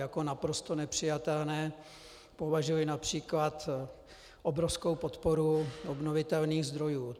Za naprosto nepřijatelné považuji například obrovskou podporu obnovitelných zdrojů.